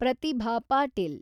Pratibha Patil